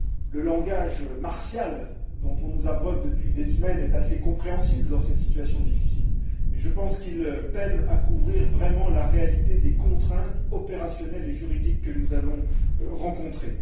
Le langage martial dont on nous abreuve depuis des semaines est assez compréhensible dans cette situation difficile, mais je pense qu'il peine à couvrir vraiment la réalité des contraintes opérationnelles et juridiques que nous allons rencontrer.